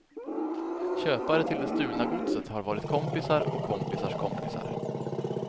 Köpare till det stulna godset har varit kompisar och kompisars kompisar.